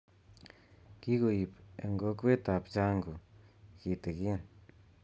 Kikoib eng kokwetab Changu kitigin